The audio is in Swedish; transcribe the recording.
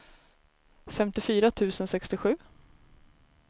femtiofyra tusen sextiosju